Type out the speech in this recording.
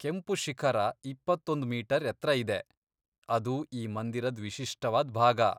ಕೆಂಪು ಶಿಖರ ಇಪ್ಪತ್ತೊಂದ್ ಮೀಟರ್ ಎತ್ರ ಇದೆ, ಅದು ಈ ಮಂದಿರದ್ ವಿಶಿಷ್ಟವಾದ್ ಭಾಗ.